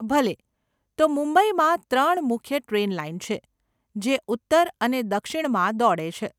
ભલે, તો મુંબઈમાં ત્રણ મુખ્ય ટ્રેન લાઈન છે, જે ઉત્તર અને દક્ષિણમાં દોડે છે.